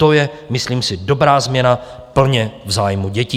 To je, myslím si, dobrá změna plně v zájmu dětí.